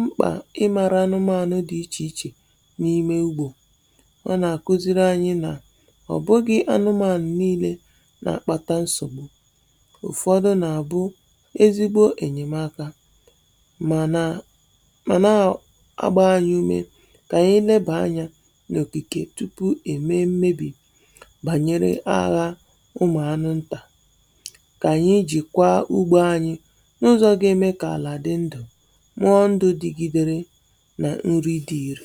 mkpa ịmara anụmanụ̀ dì ichè ichè n’ime ugbȯ. Ọ nà-àkuziri anyị nà ọ̀ bụghị̇ anụmanụ̀ nii̇lė nà-àkpàtà nsọ̀. Ụfọdụ nà-àbụ ezigbo ènyèmaaka, mànà màna a agba anyị̇ ume kà ànyị lebà anya n'òkikè tupuu è mee mmebì bànyere agha ụmụ̀ anụ̇ ntà. Kà ànyị jìkwaa ugbȯ anyị n’ụzọ̇ ga-eme kà àlà dị ndụ̀ nwee ndụ digidere nà nrì di ìri.